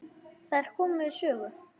Þær komu við sögu.